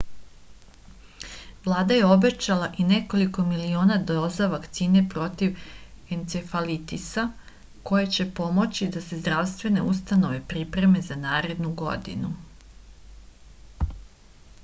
vlada je obećala i nekoliko miliona doza vakcine protiv encefalitisa koje će pomoći da se zdravstvene ustanove pripreme za narednu godinu